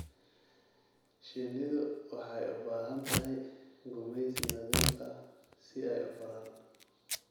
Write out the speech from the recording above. Shinnidu waxay u baahan tahay gumaysi nadiif ah si ay u koraan.